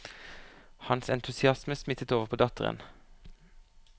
Hans entusiasme smittet over på datteren.